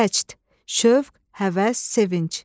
Vəcd, şövq, həvəs, sevinc.